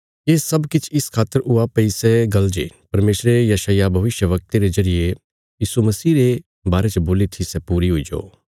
ये सब किछ इस खातर हुया भई सै गल्ल जे परमेशरे यशाय्याह भविष्यवक्ते रे जरिये यीशु मसीह रे बारे च बोल्ली थी सै पूरी हुईजो